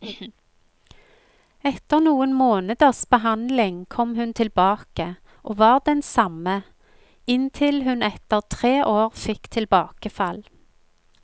Etter noen måneders behandling kom hun tilbake, og var den samme, inntil hun etter tre år fikk tilbakefall.